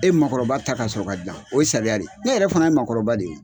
E makɔrɔba ta ka sɔrɔ ka dilan o ye sariya de ye ne yɛrɛ fana ye makɔrɔba de ye.